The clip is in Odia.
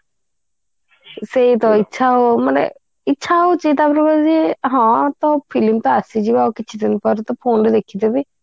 ସେଇତ ଇଚ୍ଛା ଆଉ ମାନେ ଇଚ୍ଛା ହଉଛି ତା ପରେ କଣ ହଉଛି ହଁ film ତ ଆସିଯିବ ଆଉ କିଛି ଦିନ ପରେ ତ phone ରେ ଦେଖି ଦେବି